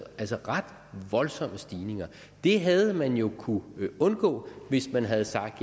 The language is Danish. altså ret voldsomme stigninger det havde man jo kunnet undgå hvis man havde sagt